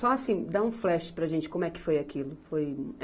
Só assim, dá um flash para a gente como é que foi aquilo, foi